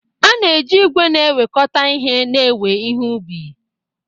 A na-eji igwe na-ewekọta ihe na-ewe ihe ubi.